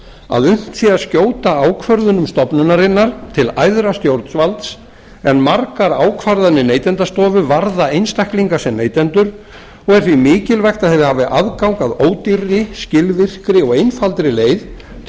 að unnt sé að skjóta ákvörðunum stofnunarinnar til æðra stjórnvalds en margar ákvarðanir neytendastofu varða einstaklinga sem neytendur og er því mikilvægt að þeir hafi aðgang að ódýrri skilvirkri og einfaldri leið til